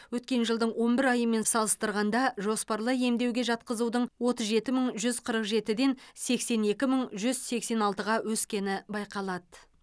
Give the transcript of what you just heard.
өткен жылдың он бір айымен салыстырғанда жоспарлы емдеуге жатқызудың отыз жеті мың жүз қырық жетіден сексен екі мың жүз сексн алтыға өскені байқалады